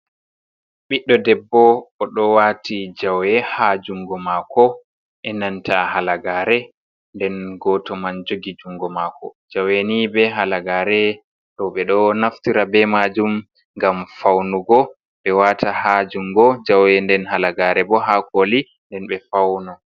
Ɓiɗɗo debbo oɗo waati jawe ha jungo mako, enanta halagare. Nden gooto man jogi jungo mako. Jawe ni be halagare ɗo ɓeɗo naftira be majum ngam faunugo ɓe wata ha jungo jawe nden halagare bo ha kooli, nden ɓe fauno.